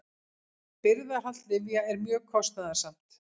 Birgðahald lyfja er mjög kostnaðarsamt.